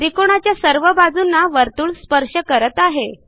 त्रिकोणाच्या सर्व बाजूंना वर्तुळ स्पर्श करत आहे